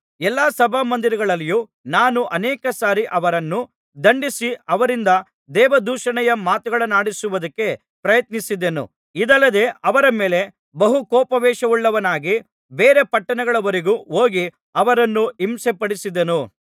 ಎಲ್ಲಾ ಸಭಾಮಂದಿರಗಳಲ್ಲಿಯೂ ನಾನು ಅನೇಕ ಸಾರಿ ಅವರನ್ನು ದಂಡಿಸಿ ಅವರಿಂದ ದೇವದೂಷಣೆಯ ಮಾತುಗಳನ್ನಾಡಿಸುವುದಕ್ಕೆ ಪ್ರಯತ್ನಿಸಿದೆನು ಇದಲ್ಲದೆ ಅವರ ಮೇಲೆ ಬಹು ಕೋಪಾವೇಶವುಳ್ಳವನಾಗಿ ಬೇರೆ ಪಟ್ಟಣಗಳವರೆಗೂ ಹೋಗಿ ಅವರನ್ನು ಹಿಂಸೆಪಡಿಸಿದೆನು